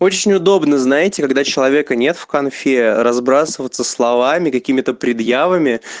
очень удобно знаете когда человека нет в конфе разбрасываться словами какими-то предъявами